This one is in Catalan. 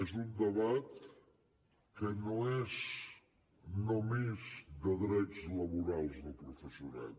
és un debat que no és només de drets laborals del professorat